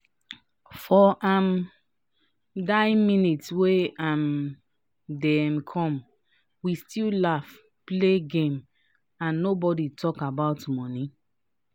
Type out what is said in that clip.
for um die minute wey um dem come we still laugh play game and nobody talk about money. um